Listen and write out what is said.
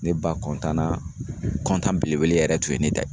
Ne ba kɔntan na kɔntan belebele yɛrɛ tun ye ne ta